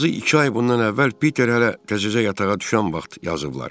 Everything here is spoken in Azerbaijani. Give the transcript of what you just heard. Azı iki ay bundan əvvəl Piter hələ təzəcə yatağa düşən vaxt yazıblar.